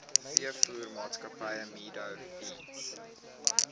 veevoermaatskappy meadow feeds